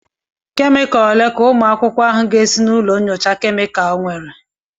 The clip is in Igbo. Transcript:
Kemikalụ ole ka ụmụ akwụkwọ ahụ ga esi na ụlọ nyocha kemịkalụ nwere?